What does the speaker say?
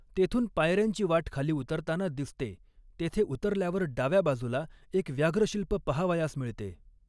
तेथुन पायऱ्यांची वाट खाली उतरताना दिसते तेथे उतरल्यावर डाव्या बाजूला एक व्याघ्रशिल्प पाहावयास मिळते.